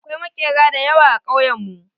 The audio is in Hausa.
Akwai maƙera da yawa a kauyen mu.